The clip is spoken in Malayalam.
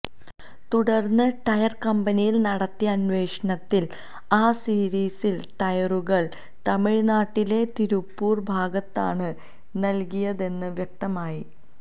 തുടര്ന്ന് ടയര് കമ്പനിയില് നടത്തിയ അന്വേഷണത്തില് ആ സിരീസിലെ ടയറുകള് തമിള്നാട്ടിലെ തിരുപ്പൂര് ഭാഗത്താണ് നല്കിയതെന്ന് വ്യക്തമായി